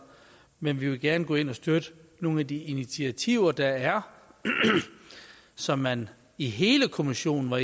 men vi vil gerne gå ind og støtte nogle af de initiativer der er og som man i hele kommissionen har